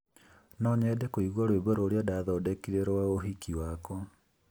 No nyende kũigua rwĩmbo rũrĩa ndaathondekire rwa ũhiki wakwa.